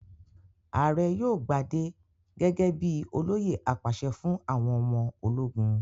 Ààrẹ yóò gbadé gẹ́gẹ́ bí i olóyè apàṣẹ fún àwọn ọmọ ológun.